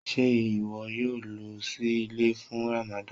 Ṣé iwọ yóò lọ sí ilẹ̀ fún Rámádān?